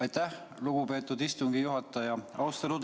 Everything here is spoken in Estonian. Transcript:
Aitäh, lugupeetud istungi juhataja!